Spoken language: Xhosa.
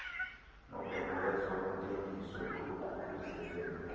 nobhengezo ntengiso oluququzelelwe